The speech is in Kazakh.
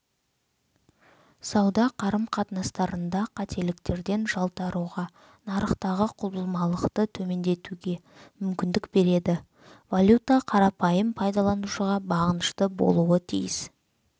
сауда қарым-қатынастарында қателіктерден жалтаруға нарықтағы құбылмалықты төмендетуге мүмкіндік береді валюта қарапайым пайдаланушыға бағынышты болуы тиіс